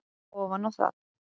ofan á það.